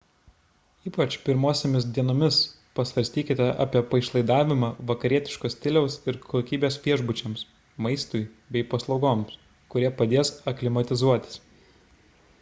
ypač pirmosiomis dienomis pasvarstykite apie paišlaidavimą vakarietiško stiliaus ir kokybės viešbučiams maistui bei paslaugoms kurie padės aklimatizuotis